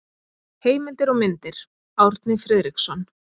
Heimildir og myndir: Árni Friðriksson.